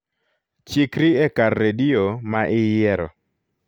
chikri e kar redio ma iyiero